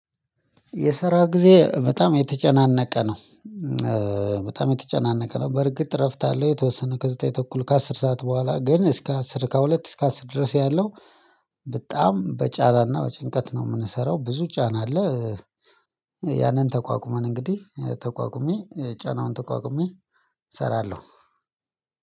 የሰራ ጊዜ በጣም የተጨናነቀ ነው። በጣም የተጨናነቀ ነው በርግጥ እረፍት አለው የተወሰነ ከዘጠኝ ተኩል ከአስር ሰዓት ቦኋላ ግን እስከ አሥር ከሁለት እስከ አሥር ድረስ ያለው በጣም በጫራና በጭንቀት ነው የምንሰራው ብዙ ጫና አለ ያንን ተቋቁመን እንግዲህ ተቋቁሜ ጫናውን ተቋቁሜ እሰራለሁ።